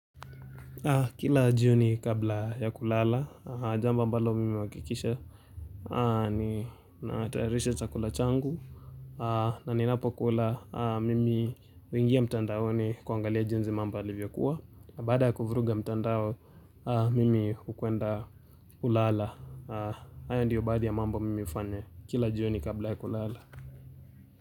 Kila jioni kabla ya kulala, jambo ambalo mimi huhakikisha. Ninatayarisha chakula changu. Na ninapokula mimi huingia mtandaoni kuangalia junsi mambo yalivyokuwa. Na baada ya kuvuruga mtandao, mimi hukwenda kulala. Haya ndiyo baadhi ya mambo mimi hufanya. Kila jio ni kabla ya kulala.